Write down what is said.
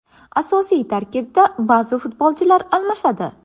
Asosiy tarkibda ba’zi futbolchilar almashadi.